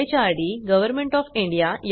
यासंबंधी माहिती पुढील साईटवर उपलब्ध आहे